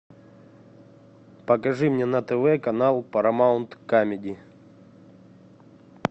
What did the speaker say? покажи мне на тв канал парамаунт камеди